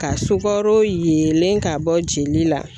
Ka sugaro yenlen ka bɔ jeli la